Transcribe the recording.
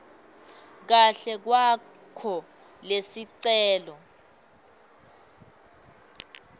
kahle kwakho lesicelo